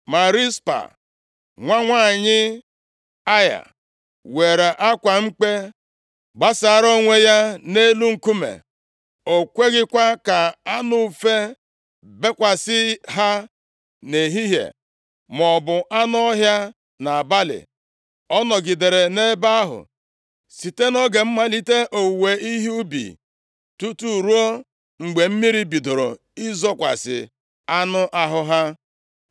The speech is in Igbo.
Ma Rizpa, nwa nwanyị Aịa were akwa mkpe gbasara onwe ya nʼelu nkume. O kweghịkwa ka anụ ufe bekwasị ha nʼehihie, maọbụ anụ ọhịa nʼabalị. Ọ nọgidere nʼebe ahụ site nʼoge mmalite owuwe ihe ubi tutu ruo mgbe mmiri bidoro izokwasị anụ ahụ ha.